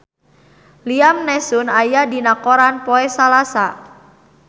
Liam Neeson aya dina koran poe Salasa